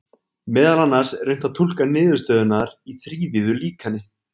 Meðal annars er unnt að túlka niðurstöðurnar í þrívíðu líkani.